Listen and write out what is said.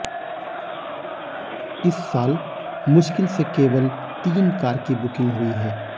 इस साल मुश्किल से केवल तीन कार की बुकिंग हुई है